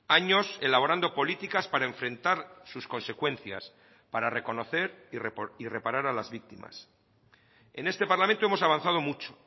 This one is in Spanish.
años elaborando políticas para enfrentar sus consecuencias para reconocer y reparar a las víctimas en este parlamento hemos avanzado mucho